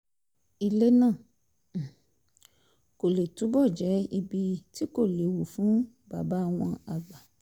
ilé náà um kó lè túbọ̀ jẹ́ ibi tí kò léwu fún bàbá wọn àgbà